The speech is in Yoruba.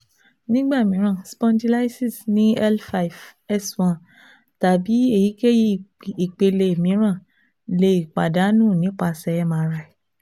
Nigba miiran spondylysis ni L five S one tabi eyikeyi ipele miiran le padanu nipasẹ M-R-I